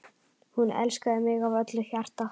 Hún elskaði mig af öllu hjarta.